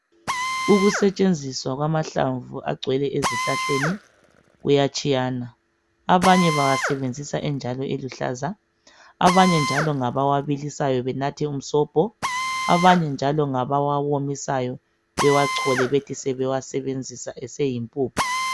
Ukusetshenziswa kwamahlamvu agcwele ezihlahleni kuyatshiyana. Abanye bawasebenzisa enjalo eluhlaza. Abanye njalo ngabawabilisayo benathe umsobho, abanye njalo ngabawawomisayo bewachole bethi sebewasebenzisa eseyimpuphu.